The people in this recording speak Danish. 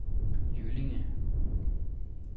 Jyllinge